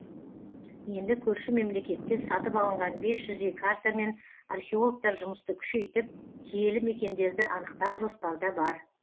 енді көрші мемлекеттен сатып алынған бес жүздей картамен археологтар жұмысты күшейтіп киелі мекендерді анықтау жоспарда бар